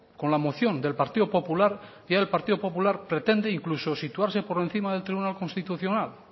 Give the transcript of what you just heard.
con la moción del partido popular y ahora el partido popular pretende incluso situarse por encima del tribunal constitucional